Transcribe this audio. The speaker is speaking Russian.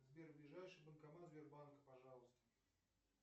сбер ближайший банкомат сбербанка пожалуйста